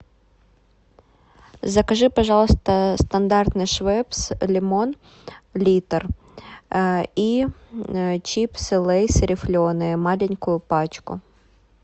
закажи пожалуйста стандартный швепс лимон литр и чипсы лейс рифленые маленькую пачку